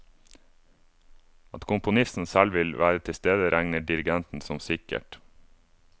At komponisten selv vil være tilstede, regner dirigenten som sikkert.